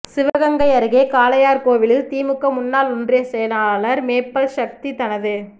சிவகங்கை அருகே காளையார்கோவிலில் திமுக முன்னாள் ஒன்றியச் செயலாளர் மேப்பல் சக்தி தனது